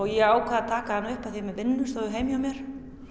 ég ákvað að taka hann upp af því að með vinnustofu heima hjá mér